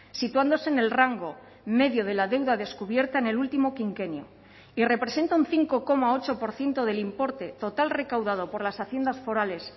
situándose en el rango medio de la deuda descubierta en el último quinquenio y representa un cinco coma ocho por ciento del importe total recaudado por las haciendas forales